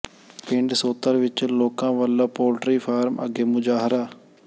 ਪਿੰਡ ਸੋਤਲ ਵਿੱਚ ਲੋਕਾਂ ਵੱਲੋਂ ਪੋਲਟਰੀ ਫਾਰਮ ਅੱਗੇ ਮੁਜ਼ਾਹਰਾ